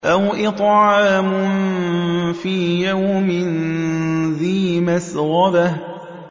أَوْ إِطْعَامٌ فِي يَوْمٍ ذِي مَسْغَبَةٍ